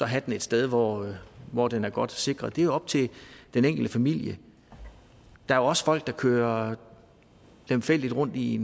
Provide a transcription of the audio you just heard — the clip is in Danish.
have den et sted hvor hvor den er godt sikret det er op til den enkelte familie der er også folk der kører lemfældigt rundt i